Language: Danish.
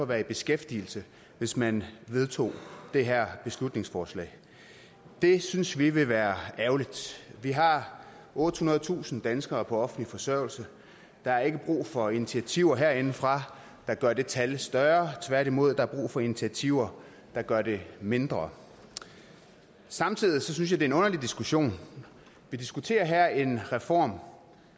være i beskæftigelse hvis man vedtog det her beslutningsforslag det synes vi ville være ærgerligt vi har ottehundredetusind danskere på offentlig forsørgelse der er ikke brug for initiativer herindefra der gør det tal større tværtimod er der brug for initiativer der gør det mindre samtidig synes jeg det er en underlig diskussion vi diskuterer her en reform